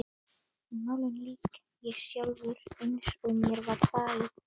En málinu lýk ég sjálfur, eins og mér var falið.